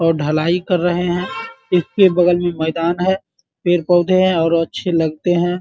और ढलाई कर रहे हैं | इसके बगल में मैदान है पेड़-पौधे हैं और अच्छे लगते हैं ।